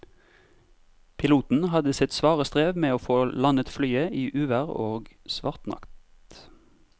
Piloten hadde sitt svare strev med å få landet flyet i uvær og svart natt.